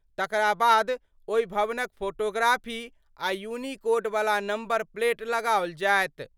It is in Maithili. तकरा बाद ओहि भवनक फोटोग्राफी आ यूनिकोड वला नंबर प्लेट लगाओल जायत।